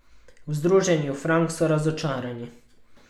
V Združenju Frank so razočarani.